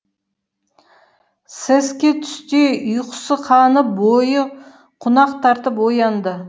сәске түсте ұйқысы қанып бойы қунақ тартып оянды